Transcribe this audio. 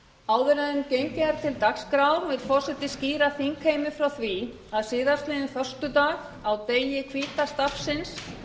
áður en gengið er til dagskrár vill forseti skýra þingheimi frá því að síðastliðinn föstudag á degi hvíta stafsins